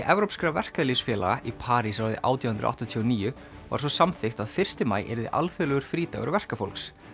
evrópskra verkalýðsfélaga í París árið átján hundruð áttatíu og níu var svo samþykkt að fyrsti maí yrði alþjóðlegur frídagur verkafólks